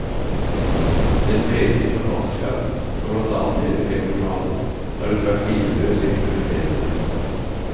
Gjennom hele sitt forfatterskap, som blant annet teller fem romaner, har hun vært hvileløst eksperimenterende.